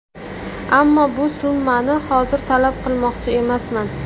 Ammo bu summani hozir talab qilmoqchi emasman.